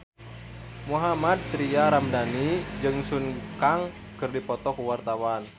Mohammad Tria Ramadhani jeung Sun Kang keur dipoto ku wartawan